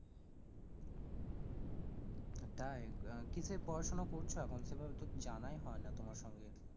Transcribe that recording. হ্যাঁ তাই, আহ কিসের পড়াশোনা করছো এখন সেভাবে তো জানাই হয় না তোমার সঙ্গে,